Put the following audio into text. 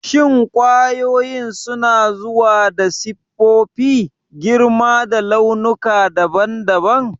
Shin kwayoyin suna zuwa da siffofi, girma da launuka daban-daban?